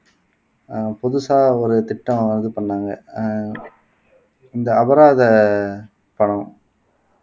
அஹ் புதுசா ஒரு திட்டம் இது பண்ணாங்க அஹ் இந்த அபராத பணம்